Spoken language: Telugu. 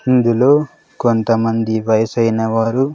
ఇందులో కొంతమంది వయసైన వారు--